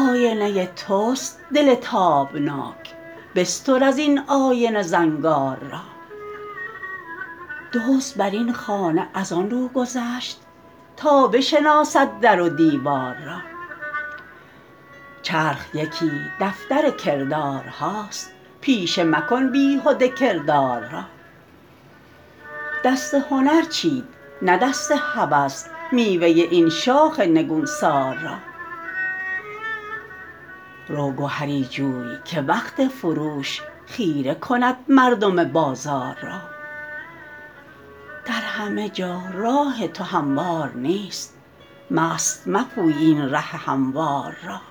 آینه تست دل تابناک بستر از این آینه زنگار را دزد بر این خانه از آنرو گذشت تا بشناسد در و دیوار را چرخ یکی دفتر کردارهاست پیشه مکن بیهده کردار را دست هنر چید نه دست هوس میوه این شاخ نگونسار را رو گهری جوی که وقت فروش خیره کند مردم بازار را در همه جا راه تو هموار نیست مست مپوی این ره هموار را